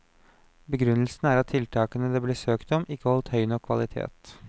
Begrunnelsen er at tiltakene det ble søkt om, ikke holdt høy nok kvalitet.